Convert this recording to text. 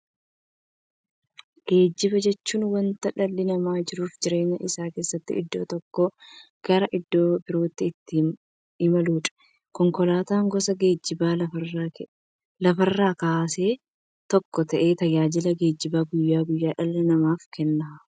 Geejjiba jechuun wanta dhalli namaa jiruuf jireenya isaa keessatti iddoo tokkoo gara iddoo birootti ittiin imaluudha. Konkolaatan gosa geejjibaa lafarraa keessaa tokko ta'ee, tajaajila geejjibaa guyyaa guyyaan dhala namaaf kenna.